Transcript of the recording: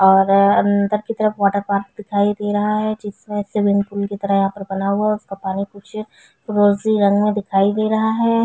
और अंदर की तरफ वॉटर पार्क दिखाई दे रहा है जिसमें स्विमिंग पूल की तरह यहाँ पर बना हुआ उसका पानी कुछ रोजी रंग में दिखाई दे रहा है।